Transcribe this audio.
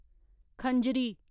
खंजरी